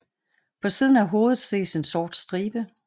På siden af hovedet ses en sort stribe